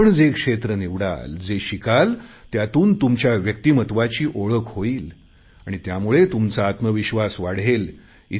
आपण जे क्षेत्र निवडाल जे शिकाल त्यातून तुमच्या व्यक्तिमत्वाची ओळख होईल आणि त्यामुळे तुमचा आत्मविश्वास वाढेल